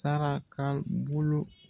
Sara k'a bolo